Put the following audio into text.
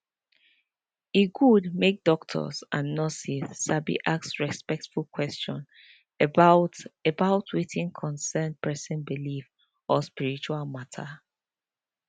e good make doctors and nurses sabi ask respectful question about about wetin concern person belief or spiritual matter